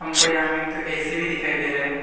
हमको यहां में एक तु ए_सी भी दिखाई दे रहा है।